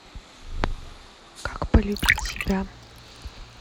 как полюбить себя